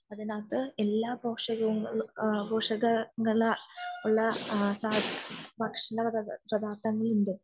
അതിനകത്തു എല്ലാ പോഷക പദാർത്ഥങ്ങൾ ഉള്ള ഭക്ഷണം ഉണ്ട്